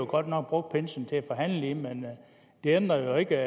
godt nok brugt pinsen til at forhandle i men det ændrer jo ikke